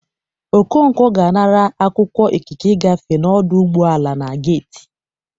Okonkwọ ga-anara akwụkwọ ikike igafe n'ọdụ ụgbọ ala na geiti